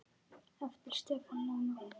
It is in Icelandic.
Eftir Stefán Mána.